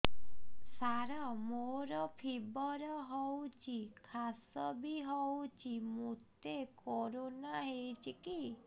ସାର ମୋର ଫିବର ହଉଚି ଖାସ ବି ହଉଚି ମୋତେ କରୋନା ହେଇଚି କି